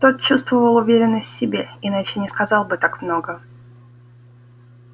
тот чувствовал уверенность в себе иначе не сказал бы так много